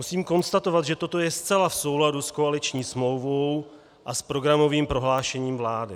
Musím konstatovat, že toto je zcela v souladu s koaliční smlouvou a s programovým prohlášením vlády.